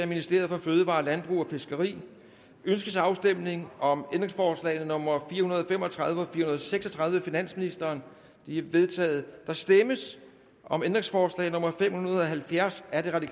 ministeriet for fødevarer landbrug og fiskeri ønskes afstemning om ændringsforslag nummer fire hundrede og fem og tredive og fire hundrede og seks og tredive af finansministeren de er vedtaget der stemmes om ændringsforslag nummer fem hundrede og halvfjerds af rv